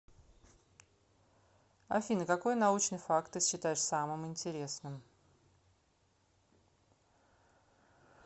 афина какой научный факт ты считаешь самым интересным